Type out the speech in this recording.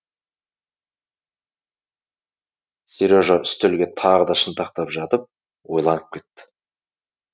сережа үстелге тағы да шынтақтап жатып ойланып кетті